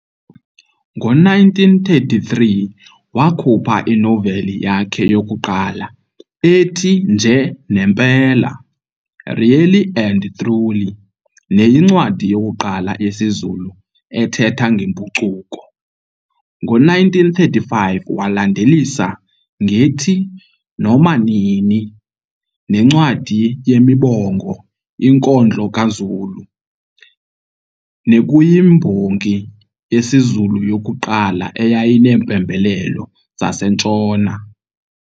Ngo-1933 wakhupha inoveli yakhe yokuqala ethi, Nje nempela, Really and Truly, neyincwadi yokuqala yesiZulu ethetha ngempucuko. Ngo-1935 walandelisa ngethi, Noma nini, nencwadi yemibongo, Inkondlo kaZulu, nekuyimbongi yesiZulu yokuqala eyayineempembelelo zaseNtshona.